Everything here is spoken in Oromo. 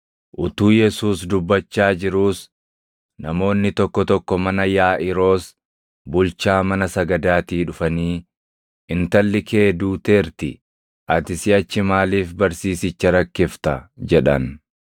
Utuu Yesuus dubbachaa jiruus namoonni tokko tokko mana Yaaʼiiroos bulchaa mana sagadaatii dhufanii, “Intalli kee duuteerti; ati siʼachi maaliif barsiisicha rakkifta?” jedhan.